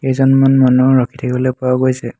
কেইজনমান মানুহ ৰখি থাকিবলৈ পোৱা গৈছে।